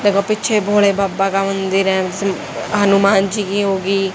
देखो पीछे भोले बाबा का मंदिर है हनुमान जी की होगी।